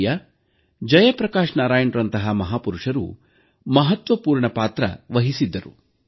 ಲೋಹಿಯಾ ಜಯಪ್ರಕಾಶ್ ನಾರಾಯಣ್ರಂತಹ ಮಹಾಪುರುಷರು ಮಹತ್ವಪೂರ್ಣ ಪಾತ್ರಹಿಸಿದ್ದರು